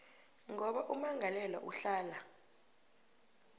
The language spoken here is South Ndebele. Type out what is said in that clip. ngoba ummangalelwa uhlala